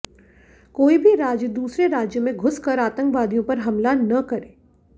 कोई भी राज्य दूसरे राज्य में घुस कर आतंकवादियों पर हमला न करे